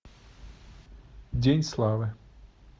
день славы